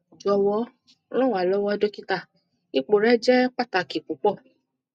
jọwọ ran wa lọwọ dokita ipo rẹ jẹ pataki pupọ